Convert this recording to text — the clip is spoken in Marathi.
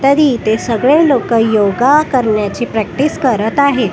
तर इथे सगळे लोकं योगा करण्याची प्रॅक्टीस करत आहेत.